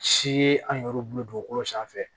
Si ye an yɛrɛ bolo dugukolo sanfɛ